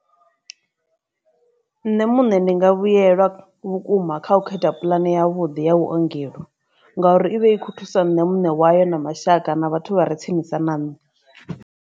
Nṋe muṋe ndi nga vhuyelwa vhukuma kha u kho khetha puḽane ya vhuḓi ya vhuongelo ngauri ivha i kho thusa nṋe muṋe wayo na mashaka na vhathu vha re tsinisa na nṋe.